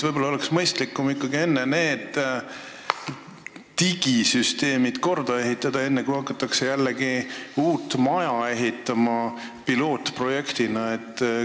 Võib-olla oleks mõistlikum need digisüsteemid korda teha, enne kui hakatakse jälle uut maja pilootprojektina ehitama.